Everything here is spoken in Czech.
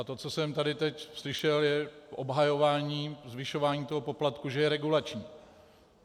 A to, co jsem tady teď slyšel, je obhajování zvyšování toho poplatku, že je regulační.